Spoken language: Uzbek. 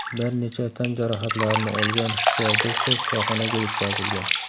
Bir necha tan jarohatlarini olgan styuardessa shifoxonaga yetkazilgan.